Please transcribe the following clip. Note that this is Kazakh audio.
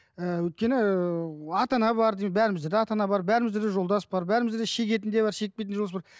ііі өйткені ііі ата ана бар бәрімізде де ата ана бар бәріміз де жолдас бар бәрімізде де шегетін де бар шекпейтін де жолдас бар